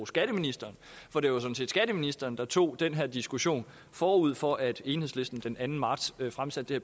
skatteministeren for det var sådan set skatteministeren der tog den her diskussion forud for at enhedslisten den anden marts fremsatte det